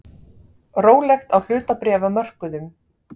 Rólegt á hlutabréfamörkuðum